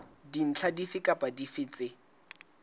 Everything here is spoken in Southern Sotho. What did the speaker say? dintlha dife kapa dife tse